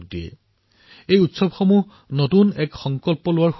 মোৰ বিশ্বাস যে এই উৎসৱ নতুন সংকল্পৰ উৎসৱ